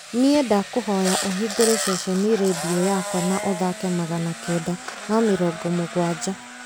nĩ ndakũhoya ũhingũre ceceni rĩndiũ yakwa na ũthaake magana kenda ma mĩrongo mũgwanja